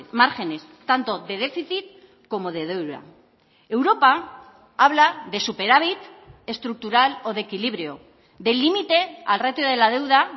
márgenes tanto de déficit como de deuda europa habla de superávit estructural o de equilibrio del límite al ratio de la deuda